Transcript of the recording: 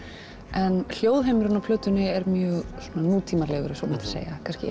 en hljóðheimurinn á plötunni er mjög svona nútímalegur ef svo mætti segja kannski